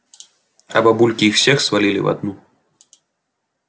а бабульки их всех свалили в одну